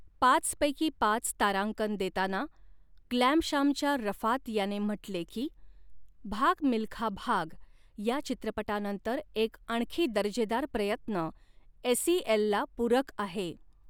पाच पैकी पाच तारांकन देताना ग्लॅमशॅमच्या रफात याने म्हटले की, भाग मिल्खा भाग या चित्रपटानंतर एक आणखी दर्जेदार प्रयत्न एस ई एलला पूरक आहे.